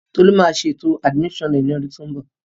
Tolu máa ṣe ètò àdìmísàn rẹ̀ ní ọdún tó ń bọ̀